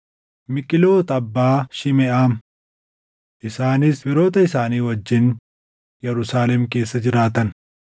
Miiqlooti abbaa Shimeʼaam. Isaanis firoota isaanii wajjin Yerusaalem keessa jiraatan.